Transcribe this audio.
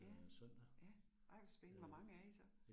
Ja, ja, ej hvor spændende, hvor mange er I så?